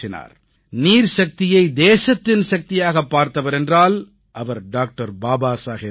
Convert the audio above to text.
நீர்சக்தியை தேசத்தின் சக்தியாகப் பார்த்தவர் என்றால் அவர் டாக்டர் பாபா சாஹேப் தான்